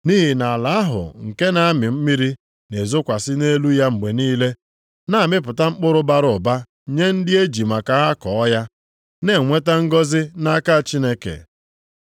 Nʼihi na ala ahụ nke na-amị mmiri na-ezokwasị nʼelu ya mgbe niile, na-amịpụta mkpụrụ bara ụba nye ndị e ji maka ha kọọ ya, na-enweta ngọzị nʼaka Chineke.